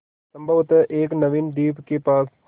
संभवत एक नवीन द्वीप के पास